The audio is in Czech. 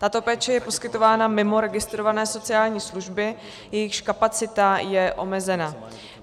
Tato péče je poskytována mimo registrované sociální služby, jejichž kapacita je omezená.